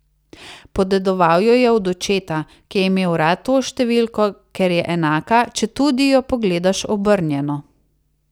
Podedoval jo je od očeta, ki je imel rad to številko, ker je enaka, četudi je pogledaš obrnjeno.